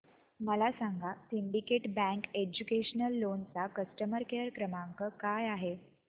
मला सांगा syndicate bank educational loan चा कस्टमर केअर क्रमांक काय आहे